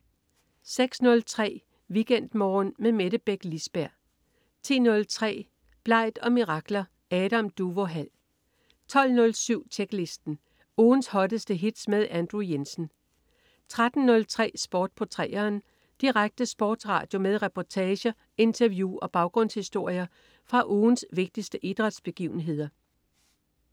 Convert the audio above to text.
06.03 WeekendMorgen med Mette Beck Lisberg 10.03 Blegt & Mirakler. Adam Duvå Hall 12.07 Tjeklisten. Ugens hotteste hits med Andrew Jensen 13.03 Sport på 3'eren. Direkte sportsradio med reportager, interview og baggrundshistorier fra ugens vigtigste idrætsbegivenheder